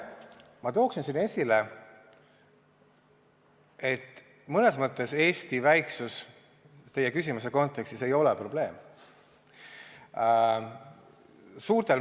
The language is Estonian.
Ma toon siin esile, et mõnes mõttes ei ole Eesti väiksus teie küsimuse kontekstis probleem.